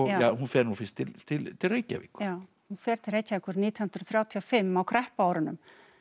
hún fer nú fyrst til til til Reykjavíkur já hún fer til Reykjavíkur nítján hundruð þrjátíu og fimm á kreppuárunum